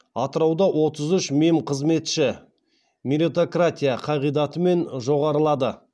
атырауда отыз үш мемқызметші меритократия қағидатымен жоғарылады